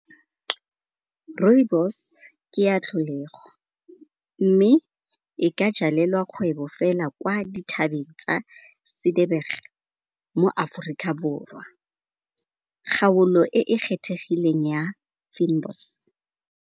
Rooibos ke ya tlholego mme e ka jalelelwa kgwebo fela kwa dithabeng tsa mo Aforika Borwa, kgaolo e e kgethegileng ya Fynbos.